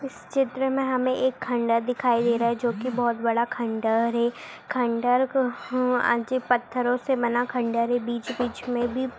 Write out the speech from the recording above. इस चित्र मे हमे एक खंडर दिखाई दे रही हैं जो की बहुत बड़ा खंडर हैं खंडर का अजीब खँड़रों से बना पत्थर हैं बीच-बीच मे भी--